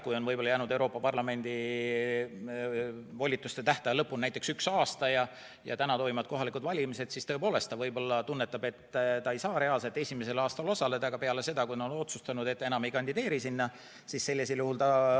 Kui Euroopa Parlamendis volituste tähtaja lõpuni on jäänud näiteks üks aasta ja täna toimuvad kohalikud valimised, siis tõepoolest ta võib-olla tunnetab, et ta ei saa reaalselt esimesel aastal osaleda, aga saab osaleda peale seda, kui ta on otsustanud, et ta enam ei kandideeri.